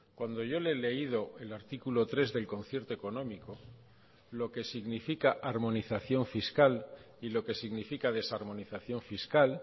cuando yo le he leído el artículo tres del concierto económico lo que significa armonización fiscal y lo que significa desarmonización fiscal